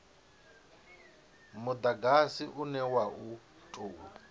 mudagasi une wa u tou